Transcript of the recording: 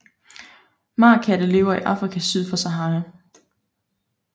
Marekatte lever i Afrika syd for Sahara